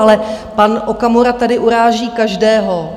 Ale pan Okamura tady uráží každého.